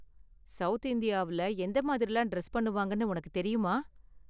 South இந்தியாவுல எந்த மாதிரிலாம் டிரஸ் பண்ணுவாங்கனு உனக்கு தெரியுமா?